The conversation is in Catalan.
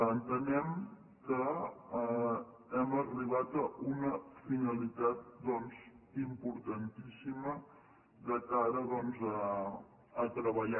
entenem que hem arribat a una finalitat importantíssima de cara a treballar